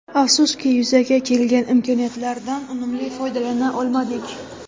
Afsuski yuzaga kelgan imkoniyatlardan unumli foydalana olmadik.